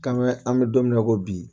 Kamɛ an bɛ don min na i ko bi